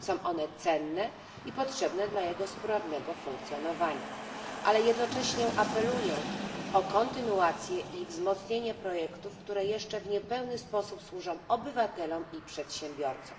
Są one cenne i potrzebne dla jego sprawnego funkcjonowania, ale jednocześnie apeluję o kontynuację i wzmocnienie projektów, które jeszcze w niepełny sposób służą obywatelom i przedsiębiorcom.